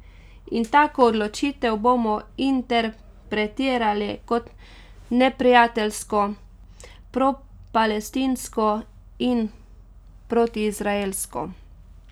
In tako odločitev bomo interpretirali kot neprijateljsko, propalestinsko in protiizraelsko.